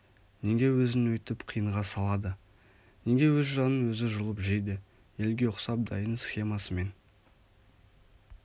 неге өзін өйтіп қиынға салады неге өз жанын өзі жұлып жейді елге ұқсап дайын схемасымен